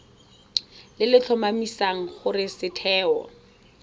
le le tlhomamisang gore setheo